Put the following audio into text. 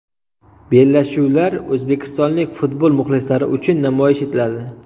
Bellashuvlar o‘zbekistonlik futbol muxlislari uchun namoyish etiladi.